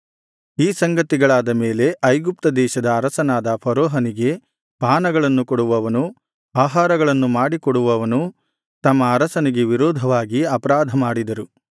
ಈ ಸಂಗತಿಗಳಾದ ಮೇಲೆ ಐಗುಪ್ತ ದೇಶದ ಅರಸನಾದ ಫರೋಹನಿಗೆ ಪಾನಗಳನ್ನು ಕೊಡುವವನೂ ಆಹಾರಗಳನ್ನು ಮಾಡಿ ಕೊಡುವವನೂ ತಮ್ಮ ಅರಸನಿಗೆ ವಿರೋಧವಾಗಿ ಅಪರಾಧ ಮಾಡಿದರು